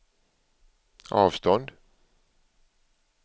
avstånd